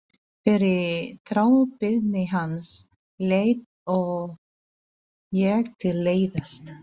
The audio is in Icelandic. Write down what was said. Fyrir þrábeiðni hans lét ég til leiðast.